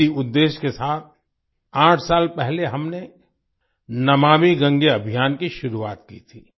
इसी उद्देश्य के साथ आठ साल पहले हमने नमामि गंगे अभियान की शुरुआत की थी